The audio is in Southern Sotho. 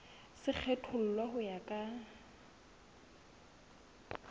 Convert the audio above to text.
se kgethollwe ho ya ka